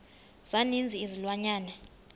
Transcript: za ninzi izilwanyana